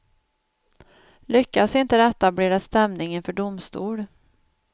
Lyckas inte detta blir det stämning inför domstol.